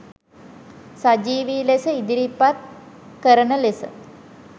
සජීවී ලෙස ඉදිරිපත් කරන ලෙස